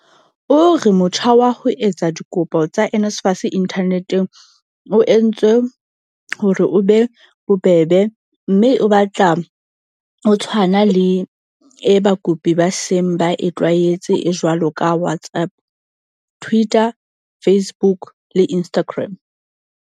O re motjha wa ho etsa dikopo tsa NSFAS inthaneteng o entswe hore o be bobebe mme o batla o tshwana le e bakopi ba seng ba e tlwaetse e jwalo ka WhatsApp, Twitter, Facebook le Instagram.